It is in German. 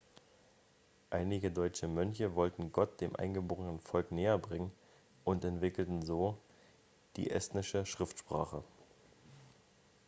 einige deutsche mönche wollten gott dem eingeborenen volk näherbringen und entwickelten so die estnische schriftsprache